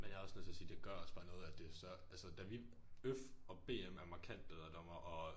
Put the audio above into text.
Men jeg er også nødt til at sige det gør også bare noget at det så altså da vi øf og bm er markant bedre dommere og